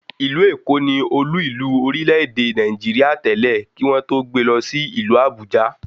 Ìlú Èkó ni Olú ìlú orílẹ̀ èdè Nàìjíríà tẹ́lẹ̀, kí wọ́n tó gbe lọ sí ìlú Àbújá